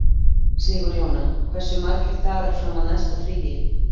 Sigurjóna, hversu margir dagar fram að næsta fríi?